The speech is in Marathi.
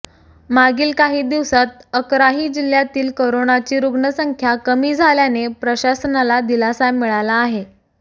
मागील काही दिवसांत अकराही जिल्ह्यांतील करोनाची रुग्णसंख्या कमी झाल्याने प्रशासनाला दिलासा मिळाला आहे